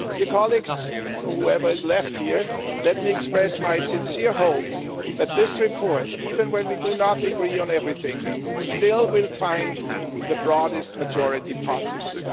Colleagues whoever is left here let me express my sincere hope that this report, even when we do not agree on everything, still will find the broadest majority possible.